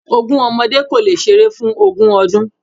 Ogún ọmọdé kò lè ṣeré fún ogún ọdún.